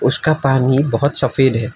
उसका पानी बहुत सफेद है।